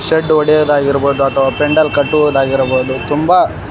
ಷಡ್ ಹೊಡೆಯುವುದಾಗಿರಬಹುದು ಅಥವಾ ಪೆಂಡಲ್ ಕಟ್ಟುವುದಾಗಿರಬಹುದು ತುಂಬ--